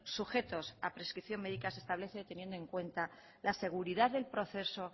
sujetos a prescripción médica se establece teniendo en cuenta la seguridad del proceso